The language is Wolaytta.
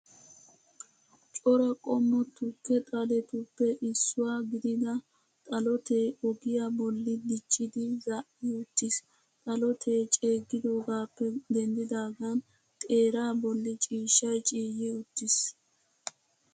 Cora qommo tuke xaletuppe issuwaa gidida xalotee ogiyaa bolli diccidi zaa'i uttiis. Xalotee ceeggidoogaappe denddaagan xeeraa bolli ciishshay ciyyi uttiis.